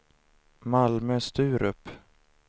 Malmö-Sturup